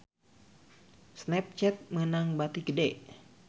Snapchat meunang bati gede